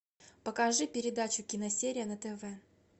покажи передачу киносерия на тв